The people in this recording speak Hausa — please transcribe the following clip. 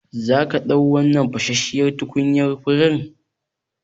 Zaka ɗau wannan fashashshiyar tukunyan furen?